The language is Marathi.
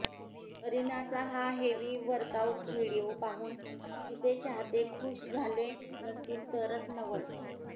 करिनाचा हा हेवी वर्कआउट व्हिडीओ पाहून तिचे चाहते खूश झाले नसतील तरच नवल